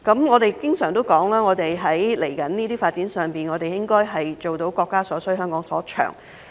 我們經常指出，在接下來這些發展上應該做到國家所需、香港所長。